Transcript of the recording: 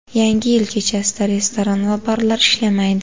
Yangi yil kechasida restoran va barlar ishlamaydi.